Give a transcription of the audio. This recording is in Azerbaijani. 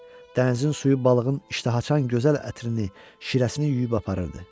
Dənizin suyu balığın iştaha açan gözəl ətrini, şirəsini yuyub aparırdı.